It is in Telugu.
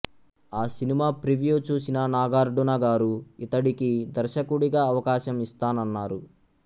ఆ సినిమా ప్రివ్యూ చూసిన నాగార్డున గారు ఇతడికి దర్శకుడిగా అవకాశం ఇస్తానన్నారు